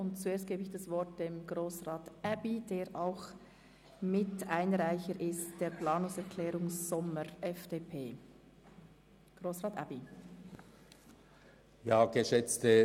Zuerst gebe ich Grossrat Aebi das Wort, der auch Mitunterzeichner der Planungserklärung Sommer/FDP ist.